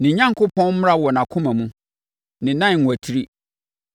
Ne Onyankopɔn mmara wɔ nʼakoma mu; ne nan nnwatiri.